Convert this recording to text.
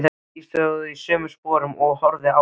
Ég stóð í sömu sporum og horfði á hann.